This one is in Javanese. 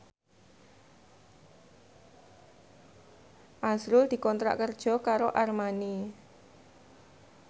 azrul dikontrak kerja karo Armani